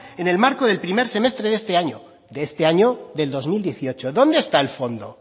en el marco del primer semestre de este año de este año del dos mil dieciocho dónde está el fondo